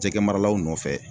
Jɛgɛmaralaw nɔfɛ